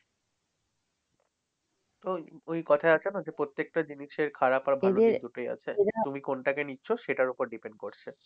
ওই ওই কথাই আছে না যে প্রত্যেকটা জিনিসের খারাপ আর ভাল দিক দুটোই আছে। তুমি কোনটাকে নিচ্ছ সেটার উপর depend করছে।